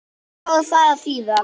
Hvað á það að þýða?